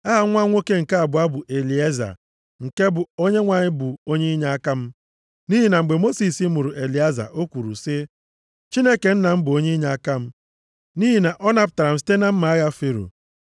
Aha nwa nwoke nke abụọ bụ Elieza, nke bụ, Onyenwe anyị bụ onye inyeaka m. Nʼihi na mgbe Mosis mụrụ Elieza o kwuru sị, “Chineke nna m bụ onye inyeaka m, nʼihi na ọ napụtara m site na mma agha Fero.”